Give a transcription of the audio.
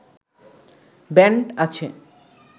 band আছে